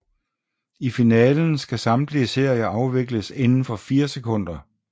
I finalen skal samtlige serier afvikles inden for fire sekunder